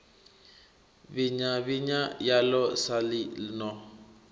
vhinya vhinya yaḽo saḽi no